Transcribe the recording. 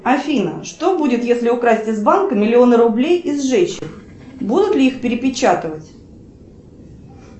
афина что будет если украсть из банка миллион рублей и сжечь их будут ли их перепечатывать